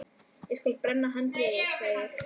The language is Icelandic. Ég skal brenna handritið, sagði ég.